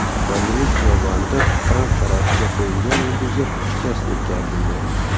Gollivud xiyobonida Tramp sharafiga qo‘yilgan yulduzga shikast yetkazildi.